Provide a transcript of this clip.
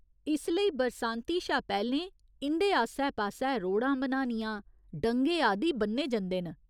इस लेई बरसांती शा पैह्‌लें इं'दे आस्सै पास्सै रोह्ड़ां बनानियां, डंगे आदि ब'न्ने जंदे न।